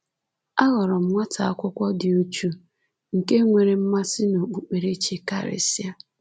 Aghọrọ m nwata akwụkwọ dị uchu, nke nwere mmasị n’okpukperechi karịsịa.